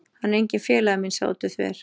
Hann er enginn félagi minn- sagði Oddur þver